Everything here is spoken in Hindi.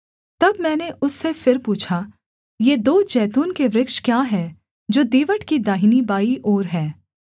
तब मैंने उससे फिर पूछा ये दो जैतून के वृक्ष क्या हैं जो दीवट की दाहिनीबाईं ओर हैं